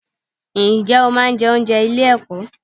Ǹjẹ́ o máa ń jẹ oúnjẹ ilé ẹ̀kọ́?